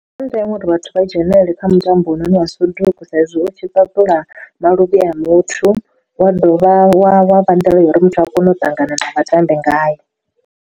Ndi zwa ndeme uri vhathu vha dzhenelele kha mutambo une wa soduku sa izwi u tshi ṱuṱula maluvhi a muthu wa dovha wa wa vha nḓila ya uri muthu a kone u ṱangana na vhatambi ngayo.